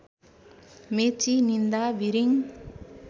मेची निन्दा बिरिङ